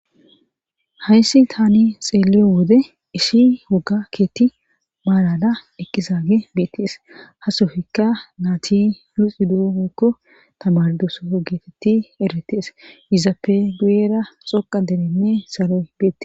Hayssi tani xeeleyo wode ishi woga keeththi maalala eqqizaage biittes hasofikka naati luxidoekko tamardosoo geetetti eretes izappe guyera xoqa derenne saloy beete.